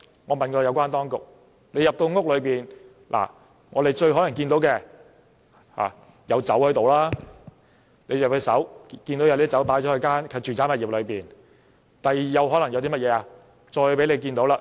我問過有關當局，督察入屋後最有可能看到的是酒，看到有酒擺放在住宅物業內；第二，可能看到數名青少年。